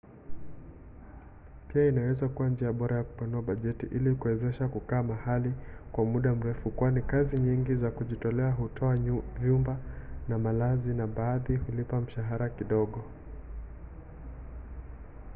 pia inaweza kuwa njia bora ya kupanua bajeti ili kuwezesha kukaa mahali kwa muda mrefu kwani kazi nyingi za kujitolea hutoa vyumba na malazi na baadhi hulipa mshahara kidogo